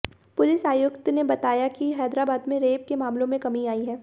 police आयुक्त ने बताया कि हैदराबाद में रेप के मामलों में कमी आई है